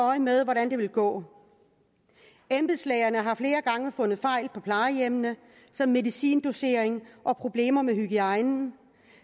øje med hvordan det vil gå embedslægerne har flere gange fundet fejl på plejehjemmene som medicindosering og problemer med hygiejnen